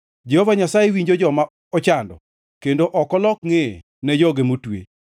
Jehova Nyasaye winjo joma ochando kendo ok olok ngʼeye ne joge motwe.